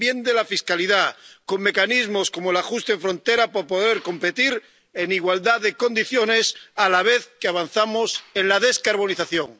también de la fiscalidad, con mecanismos como el ajuste de frontera para poder competir en igualdad de condiciones a la vez que avanzamos en la descarbonización.